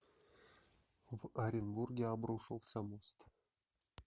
в оренбурге обрушился мост